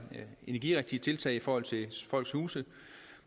energirigtige tiltag i forhold til folks huse